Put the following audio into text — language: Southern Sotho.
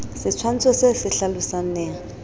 setshwantsho se se hlalosang neha